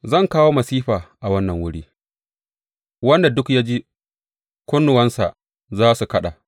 Zan kawo masifa a wannan wuri, wanda duk ya ji, kunnuwansa za su kaɗa.